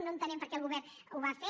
no entenem per què el govern ho va fer